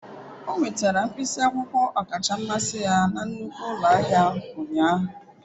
O nwetara mkpịsị akwụkwọ ọkacha mmasị ya na nnukwu ụlọ ahịa ụnyaahụ.